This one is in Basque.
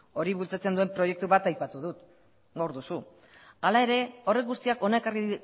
hori bultzatzen duen proiektu bat aipatu dut hor duzu hala ere horrek guztiak hona ekarri